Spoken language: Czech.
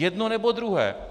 Jedno, nebo druhé.